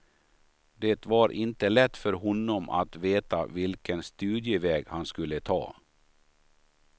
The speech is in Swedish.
Det var inte lätt för honom att veta vilken studieväg han skulle ta.